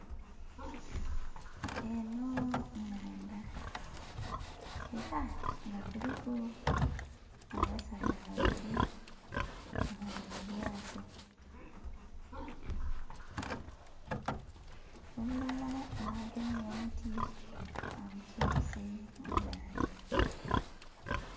Enho nnhandha ela nga kuliku abasaadha babili nga bali mu lyato, omulala nga agemye omuti agusonse mu maadhi.